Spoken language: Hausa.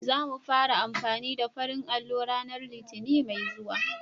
Za mu fara amfani da farin allo ranar Litinin mai zuwa.